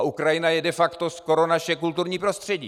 A Ukrajina je de facto skoro naše kulturní prostředí.